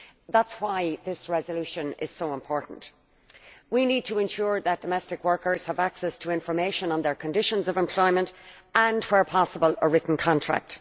That is why this resolution is so important. We need to ensure that domestic workers have access to information on their conditions of employment and, where possible, a possible written contract.